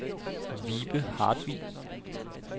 Vibe Hartvig